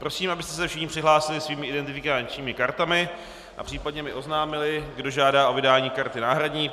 Prosím, abyste se všichni přihlásili svými identifikačními kartami a případně mi oznámili, kdo žádá o vydání karty náhradní.